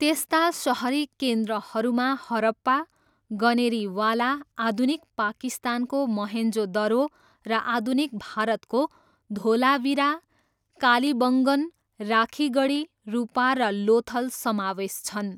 त्यस्ता सहरी केन्द्रहरूमा हरप्पा, गनेरीवाला, आधुनिक पाकिस्तानको मोहेन्जो दरो र आधुनिक भारतको धोलावीरा, कालिबङ्गन, राखिगढी, रुपार र लोथल समावेश छन्।